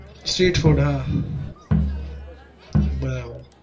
street food હાં બરાબર